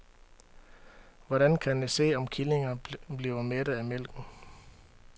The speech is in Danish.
Hvordan kan jeg se, om killingerne bliver mætte af mælken?